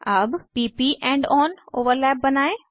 अब p प end on overlap बनायें